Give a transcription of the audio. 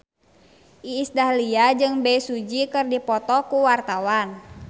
Iis Dahlia jeung Bae Su Ji keur dipoto ku wartawan